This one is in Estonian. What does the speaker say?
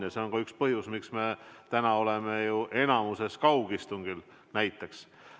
Ja see on ka üks põhjus, miks me täna oleme enamikus kaugistungil näiteks.